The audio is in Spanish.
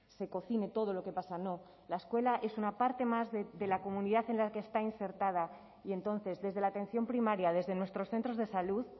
se cocine todo lo que pasa no la escuela es una parte más de la comunidad en la que está insertada y entonces desde la atención primaria desde nuestros centros de salud